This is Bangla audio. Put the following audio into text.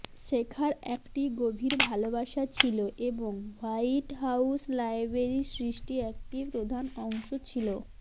শেখার একটি গভীর ভালবাসা ছিল এবং হোয়াইট হাউস লাইব্রেরি সৃষ্টি একটি প্রধান অংশ ছিল